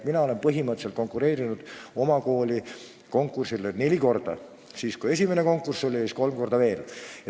Mina olen konkureerinud oma kooli direktoriks neli korda: siis, kui oli esimene konkurss, ja kolm korda veel.